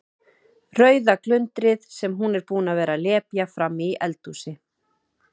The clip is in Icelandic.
Rauða glundrið sem hún er búin að vera að lepja frammi í eldhúsi.